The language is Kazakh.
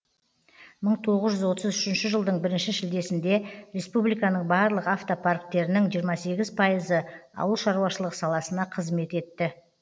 мың тоғыз жүз отыз үшінші жылдың бірінші шілдесінде республиканың барлық автопарктерінің жиырма сегіз пайызы ауыл шаруашылығы саласына қызмет етті